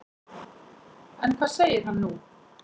En hvað segir hann nú?